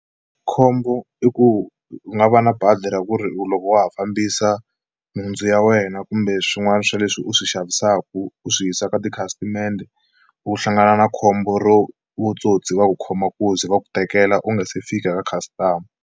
Khombo i ku u nga va na bazi ra ku ri u loko wa ha fambisa nhundzu ya wena kumbe swin'wana swa leswi u swi xavisaku u swi yisa ka tikhasitamende u hlangana na khombo ro vutsotsi va ku khoma nkunzi va ku tekela u nga se fika ka customer.